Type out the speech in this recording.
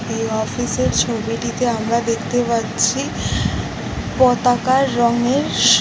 এই অফিস -এর ছবিটিতে আমরা দেখতে পাচ্ছি পতাকার রঙের স--